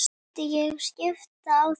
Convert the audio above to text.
Myndi ég skipta á þeim?